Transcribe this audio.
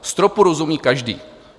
Stropu rozumí každý.